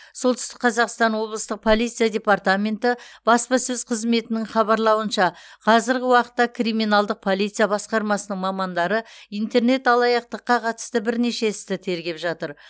солтүстік қазақстан облысы полиция департаменті баспасөз қызметінің хабарлауынша қазіргі уақытта криминалдық полиция басқармасының мамандары интернет алаяқтыққа қатысты бірнеше істі тергеп жатыр